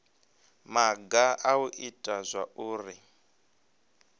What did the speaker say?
maga a u ita zwauri